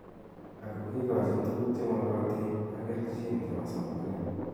Ako kikajin tukuk che makoton ak keichin che bo somanet.